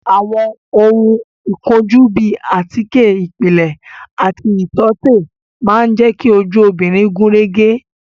Àwọn ohun ìkojú bíi àtíkè ìpìlẹ̀ àti ìtọ́tè máa jẹ ki ojú obìnrin gúnrégé